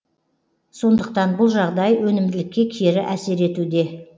сондықтан бұл жағдай өнімділікке кері әсер етуде